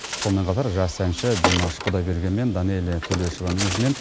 сонымен қатар жас әнші димаш құдайберген мен данэлия тулешованың ізімен